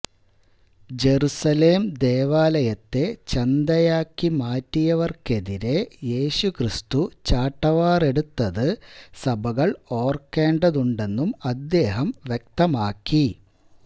Jerusalem ദേവാലയത്തെ ചന്തയാക്കി മാറ്റിയവര്ക്കെതിരെ യേശു ക്രിസ്തു ചാട്ടവാര് എടുത്തത് സഭകള് ഓര്ക്കേണ്ടതുണ്ടെന്നും അദ്ദേഹം വ്യക്തമാക്കി